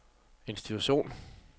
institution